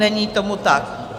Není tomu tak.